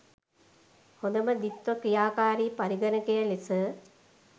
හොඳම ද්විත්ව ක්‍රියාකාරී පරිගණකය ලෙස